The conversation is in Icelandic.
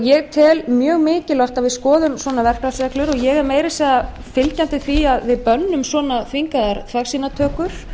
ég tel mjög mikilvægt að við skoðum svona verklagsreglur og ég er meira að segja fylgjandi því að við bönnum svona þvingaðar þvagsýnatökur